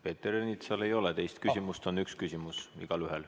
Peeter Ernitsal ei ole teist küsimust, üks küsimus on igaühel.